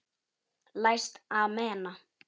Læst amena.